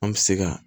An bɛ se ka